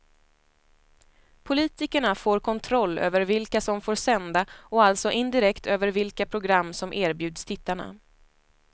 Politikerna får kontroll över vilka som får sända och alltså indirekt över vilka program som erbjuds tittarna.